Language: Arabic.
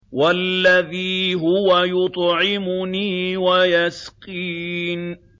وَالَّذِي هُوَ يُطْعِمُنِي وَيَسْقِينِ